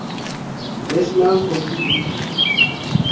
national hockey league